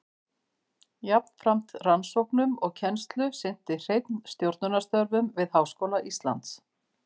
Jafnframt rannsóknum og kennslu sinnti Hreinn stjórnunarstörfum við Háskóla Íslands.